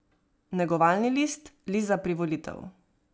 Negovalni list, list za privolitev.